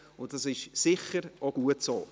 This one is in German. Das ist sicher auch gut so.